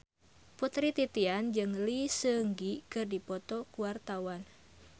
Putri Titian jeung Lee Seung Gi keur dipoto ku wartawan